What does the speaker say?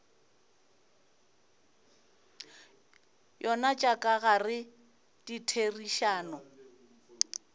yona tša ka gare ditherišano